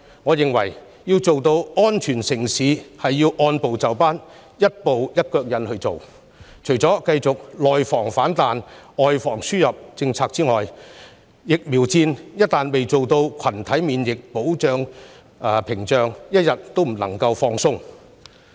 為了讓香港成為安全城市，我認為政府要按部就班，除了繼續實施"外防輸入、內防反彈"的政策外，還要築起群體免疫屏障，一天都不能夠鬆懈。